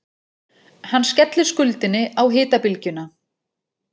Hann skellir skuldinni á hitabylgjuna